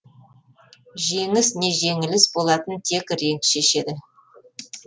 жеңіс не жеңіліс болатынын тек ринг шешеді